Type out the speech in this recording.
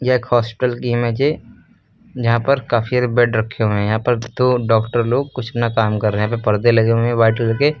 एक हॉस्पिटल की इमेज है जहां पर काफी बेड रखे हुए हैं यहां पर दो डॉक्टर लोग कुछ ना काम कर रहे हैं यहां पे परदे लगे हुए हैं व्हाइट कलर के।